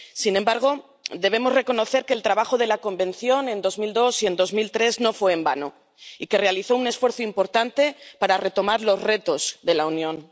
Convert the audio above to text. Sin embargo, debemos reconocer que el trabajo de la Convención en 2002 y en 2003 no fue en vano y que se realizó un esfuerzo importante para retomar los retos de la Unión.